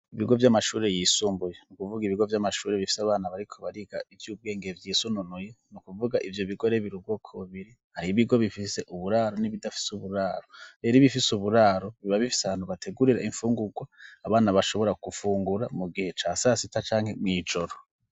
Ibigo vy'amashuri yisumbuye ni kuvuga ibigo by'amashuri bifise abana bariko bariga iby'ubwenge byisununuye no kuvuga ibyo bigore bir ubwoko biri hari ibigo bifise uburaro n'ibidafise uburaro bero ibifise uburaro biba bifise abantu bategurira imfunguka abana bashobora kufungura mu gihe ca sasita canke mw'ijoro.